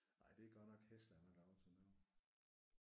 Ej det er godt nok hæsligt at man har lavet sådan noget